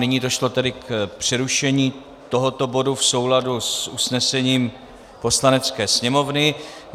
Nyní došlo tedy k přerušení tohoto bodu v souladu s usnesením Poslanecké sněmovny.